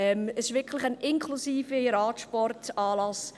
Es ist wirklich ein «Inclusive» im Radsportanlass.